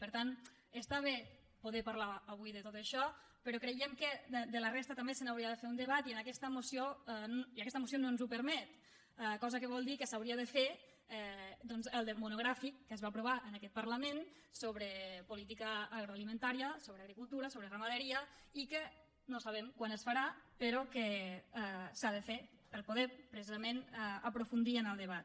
per tant està bé poder parlar avui de tot això però creiem que de la resta també se n’hauria de fer un debat i aquesta moció no ens ho permet cosa que vol dir que s’hauria de fer doncs el monogràfic que es va aprovar en aquest parlament sobre política agroalimentària sobre agricultura sobre ramaderia i que no sabem quan es farà però que s’ha de fer per poder precisament aprofundir en el debat